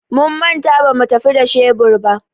Mun manta bamu tafi da shebur ba.